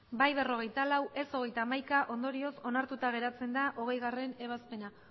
bai berrogeita lau ez hogeita hamaika ondorioz onartuta geratzen da hogeigarrena ebazpena